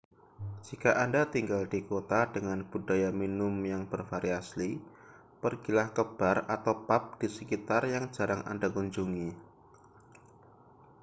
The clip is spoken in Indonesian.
jika anda tinggal di kota dengan budaya minum yang bervariasi pergilah ke bar atau pub di sekitar yang jarang anda kunjungi